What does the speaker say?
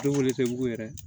Denwolo tɛ wugu yɛrɛ